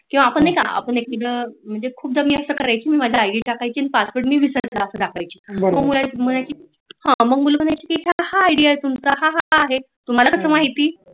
किंवा आपण नाही का आपण मी माझा मुल म्हणायची की हां तुमच आईडी आहे हां आहे तुम्हारा कस माहीत